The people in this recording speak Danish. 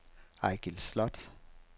Eigil Sloth